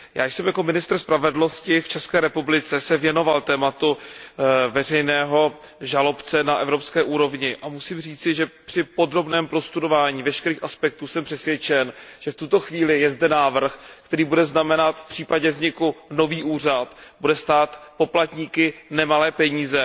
Já jsem se jako ministr spravedlnosti v České republice věnoval tématu veřejného žalobce na evropské úrovni a musím říci, že při podrobném prostudování veškerých aspektů jsem přesvědčen, že v tuto chvíli je zde návrh, který bude, v případě vzniku nového úřada, stát poplatníky nemalé peníze.